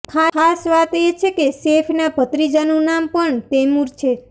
ખાસ વાત એ છે કે સૈફના ભત્રીજાનું નામ પણ તૈમૂર છે